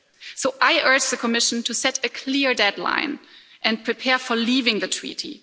So I urge the Commission to set a clear deadline and prepare for leaving the Treaty.